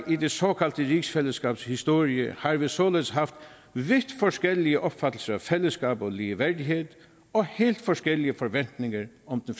i det såkaldte rigsfællesskabs historie har vi således haft vidt forskellige opfattelser af fællesskab og ligeværdighed og helt forskellige forventninger om